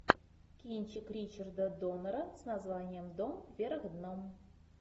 кинчик ричарда доннера с названием дом вверх дном